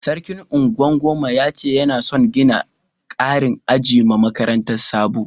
Sarkin Ungwan doma ya ce yana son gina karin aji ma makarantan Sabo.